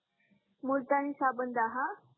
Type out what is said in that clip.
मुलतानी साबण दाहा